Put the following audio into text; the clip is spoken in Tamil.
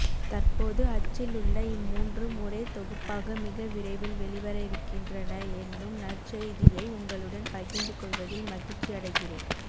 தற்போது அச்சிலுள்ள இம்மூன்றும் ஒரே தொகுப்பாக மிக விரைவில் வெளிவரவிருக்கின்றன என்னும் நற்செய்தியை உங்களுடன் பகிர்ந்து கொள்வதில் மகிழ்ச்சியடைகிறேன்